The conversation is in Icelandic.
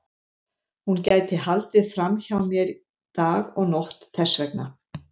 Hún gæti haldið fram hjá mér dag og nótt þess vegna.